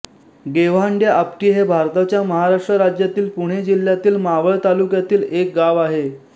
गेव्हांडेआपटी हे भारताच्या महाराष्ट्र राज्यातील पुणे जिल्ह्यातील मावळ तालुक्यातील एक गाव आहे